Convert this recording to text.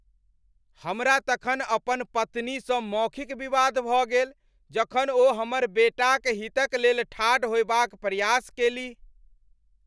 हमरा तखन अपन पत्नीसँ मौखिक विवाद भऽ गेल जखन ओ हमर बेटाक हितक लेल ठाढ़ होएबाक प्रयास केलीह।